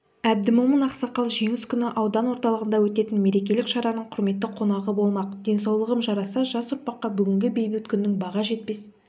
әбдімомын ақсақал жеңіс күні аудан орталығында өтетін мерекелік шараның құрметті қонағы болмақ денсаулығым жараса жас ұрпаққа бүгінгі бейбіт күннің баға жетпес